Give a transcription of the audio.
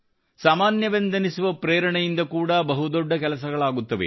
ಸಾಮಾನ್ಯವೆಂದೆನ್ನಿಸುವ ಪ್ರೇರಣೆಯಿಂದ ಕೂಡಾ ಬಹುದೊಡ್ಡ ಕೆಲಸಗಳಾಗುತ್ತವೆ